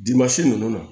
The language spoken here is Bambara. ninnu na